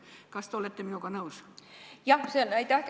Kas te olete minuga nõus?